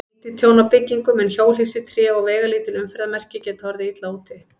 Lítið tjón á byggingum, en hjólhýsi, tré og veigalítil umferðarmerki geta orðið illa úti.